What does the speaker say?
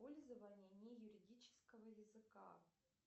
пользование не юридического языка